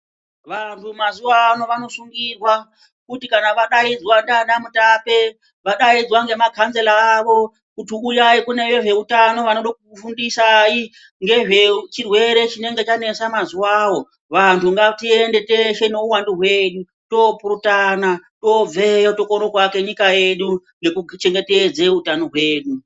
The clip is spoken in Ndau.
Vantu mazuvano vanosungirwa kuti kana vadaidzwa ndiana mutape, vadaidzwa ngemakanzera avo kuti uyai kune vezveutano vanoda kukufundisai ngezvechirwere chinenge chanetsa mazuwawo. Vantu ngatiende teshe nehuwandu hwedu toopurutana, toobveyo tokone kuvake nyika yedu ngekuchengetedze hutano hwedu.